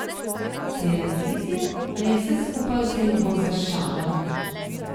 Se je razjezil ali je vse skupaj vzel bolj za šalo?